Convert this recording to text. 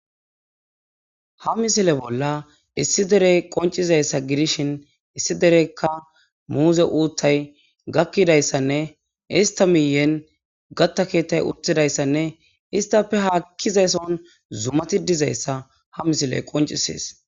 Ha misile bolla issi dere qoncizaysa gidishin issi dereka muze utayi gakidaysanne issta miyene kata ketay utdaysanne isstppe hakizason zumati dizaysa ha misley qoncisese